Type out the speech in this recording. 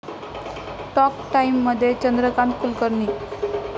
talk टाइम'मध्ये चंद्रकांत कुलकर्णी